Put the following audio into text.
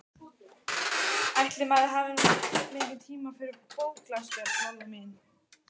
Ætli maður hafi nú mikinn tíma fyrir bóklestur, Lolla mín.